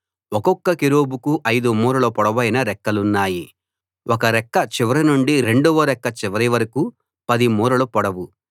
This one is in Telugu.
ఒక్కొక్క కెరూబుకు 5 మూరల పొడవైన రెక్కలున్నాయి ఒక రెక్క చివరి నుండి రెండవ రెక్క చివరి వరకూ 10 మూరలు పొడవు